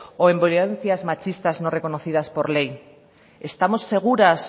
o en violencias machistas no reconocidas por ley estamos seguras